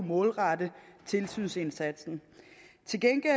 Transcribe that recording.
målrette tilsynsindsatsen til gengæld